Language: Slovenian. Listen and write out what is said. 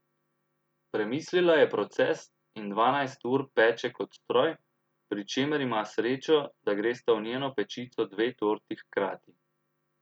Premislila je proces in dvanajst ur peče kot stroj, pri čemer ima srečo, da gresta v njeno pečico dve torti hkrati.